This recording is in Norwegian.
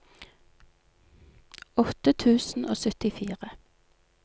åtte tusen og syttifire